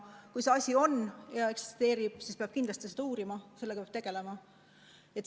Kui see asi eksisteerib, siis peab kindlasti seda uurima, sellega peab tegelema.